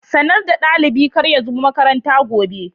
Sanarwa dalibi kar ya zo makaranta gobe.